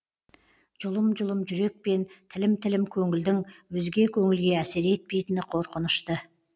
жұлым жұлым жүрек пен тілім тілім көңілдің өзге көңілге әсер етпейтіні қорқынышты